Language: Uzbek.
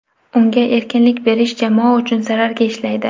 Unga erkinlik berish jamoa uchun zararga ishlaydi.